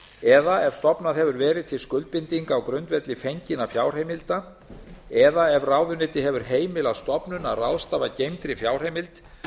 eða ef stofnað hefur verið til skuldbindinga á grundvelli fenginna fjárheimilda eða ef ráðuneyti hefur heimilað stofnun að ráðstafa geymdri fjárheimild